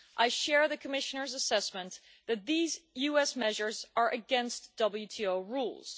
I share the Commissioner's assessment that these US measures are against WTO rules.